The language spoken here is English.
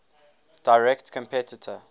direct competitor